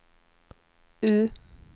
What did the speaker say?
U